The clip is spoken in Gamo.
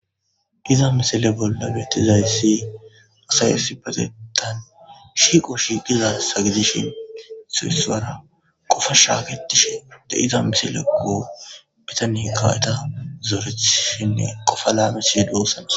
Iza misale bolla betizayssi asayasi patetan shiqo shi qiza sagidishin siesuwara qofa shaaketishe de iza misale go bitani kaweta zoorethishinne qofa laano siiduossanos,